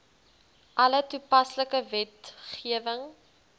alle toepaslike wetgewing